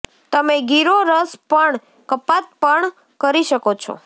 તમે ગીરો રસ પણ કપાત પણ કરી શકો છો